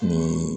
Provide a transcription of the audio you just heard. Ni